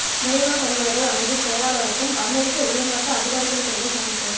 வெளிநாட்டலுவல்கள் அமைச்சின் செயலாளருக்கும் அமெரிக்க உயர் மட்ட அதிகாரிகளுக்கிடையில் சந்திப்பு